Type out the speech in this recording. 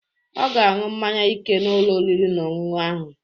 Ọ ga-aṅụ mmaṅya ike n'Ụlọ oriri na ọṅụṅụ ahu.